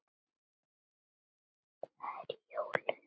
Það eru jólin.